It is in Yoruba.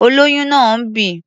Olóyún náà ń bì.